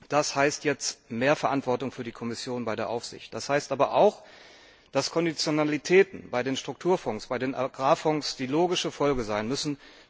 das heißt jetzt mehr Verantwortung für die Kommission bei der Aufsicht, das heißt aber auch, dass Konditionalitäten bei den Strukturfonds, bei den Agrarfonds die logische Folge sein müssen.